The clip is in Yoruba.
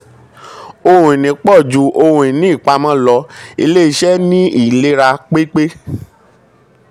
ohun ìní pọ̀ um ju ohun um ìní ìpàmọ́ lọ ilé-iṣẹ́ ní ìlera um pépé.